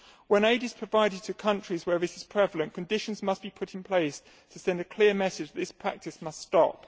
When aid is provided to countries where this is prevalent, conditions must be put in place to send a clear message that this practice must stop.